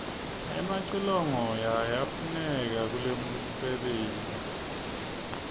emacilongo yayafuneka kulomfebenti